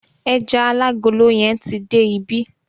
Ẹja alágolo yẹn ti dé ibí.